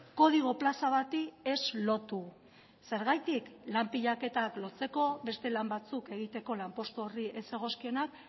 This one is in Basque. kodigo plaza bati ez lotu zergatik lan pilaketak lotzeko beste lan batzuk egiteko lanpostu horri ez zegozkionak